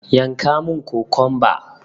Yanka mun kokumba!